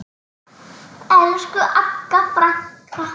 Elsku Agga frænka.